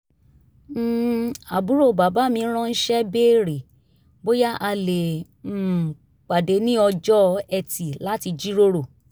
um àbúrò bàbá mi ránṣẹ́ béèrè bóyá a lè um pàdé ní ọjọ́ etì láti jíròrò